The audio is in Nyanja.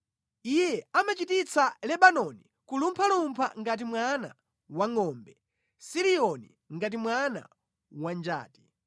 Iye amachititsa Lebanoni kulumphalumpha ngati mwana wangʼombe, Siriyoni ngati mwana wa njati: